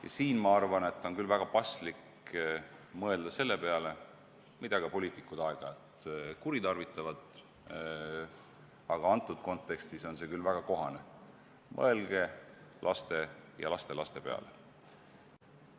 Ja siinkohal on küll väga paslik kasutada lauset, mida ka poliitikud aeg-ajalt kuritarvitavad, aga praeguses kontekstis on see küll väga kohane: mõelge laste ja lastelaste peale!